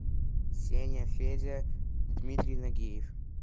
сеня федя дмитрий нагиев